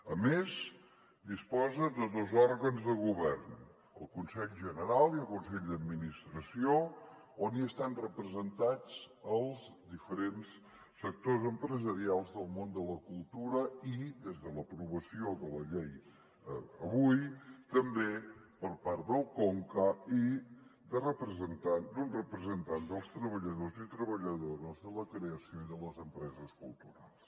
a més disposa de dos òrgans de govern el consell general i el consell d’administració on estan representats els diferents sectors empresarials del món de la cultura i des de l’aprovació de la llei avui també per part del conca i d’un representant dels treballadors i treballadores de la creació i de les empreses culturals